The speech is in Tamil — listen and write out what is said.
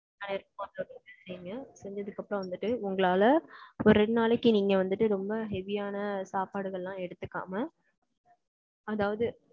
நான் எடுத்து செய்ங்க. செஞ்சதுக்கு அப்புறம் வந்துட்டு, உங்களால, ஒரு ரெண்டு நாளைக்கு, நீங்க வந்துட்டு, ரொம்ப heavy யான, சாப்பாடுகள்லாம், எடுத்துக்காம அதாவது,